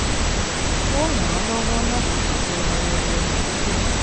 ó ràn án lọ́wọ́ láti ṣètò ayẹyẹ àdúgbò